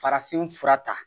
Farafin fura ta